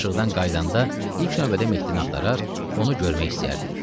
Tapşırıqdan qayıdanda ilk növbədə Mehdini axtarar, onu görmək istəyərdi.